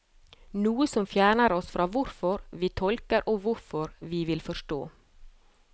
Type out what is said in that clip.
Noe som fjerner oss fra hvorfor vi tolker og hvorfor vi vil forstå.